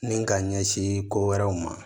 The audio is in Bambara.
Ni ka ɲɛsin ko wɛrɛw ma